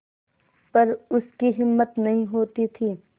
पर उसकी हिम्मत नहीं होती थी